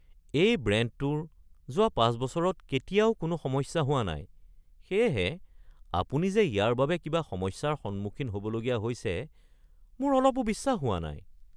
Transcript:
এই ব্ৰেণ্ডটোৰ যোৱা ৫ বছৰত কেতিয়াও কোনো সমস্যা হোৱা নাই, সেয়েহে আপুনি যে ইয়াৰ বাবে কিবা সমস্যাৰ সন্মুখীন হ’বলগীয়া হৈছে মোৰ অলপো বিশ্বাস হোৱা নাই। (দোকানী)